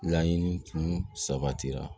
Laɲini tun sabatira